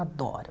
Adoro.